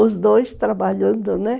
Os dois trabalhando, né?